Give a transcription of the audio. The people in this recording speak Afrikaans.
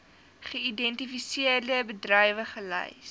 geïdentifiseerde bedrywe gelys